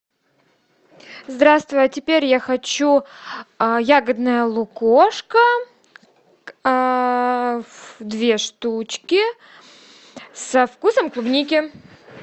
здравствуй а теперь я хочу ягодное лукошко две штучки со вкусом клубники